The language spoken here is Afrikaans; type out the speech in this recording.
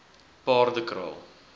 paardekraal